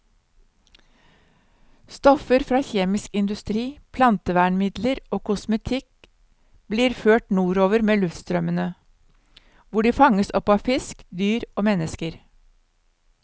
Stoffer fra kjemisk industri, plantevernmidler og kosmetikk blir ført nordover med luftstrømmene, hvor de fanges opp av fisk, dyr og mennesker.